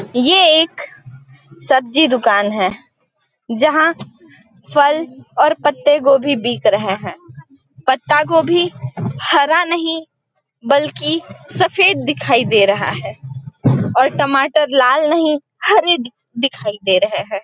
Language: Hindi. ये एक सब्जी दुकान है जहाँ फल और पत्ते गोभी बिक रहे है पत्ता गोभी हरा नहीं बल्कि सफ़ेद दिखाई दे रहा है और टमाटर लाला नहीं हरे दिखाई दे रहे हैं ।